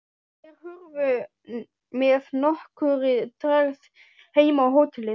Þeir hurfu með nokkurri tregðu heim á hótelið.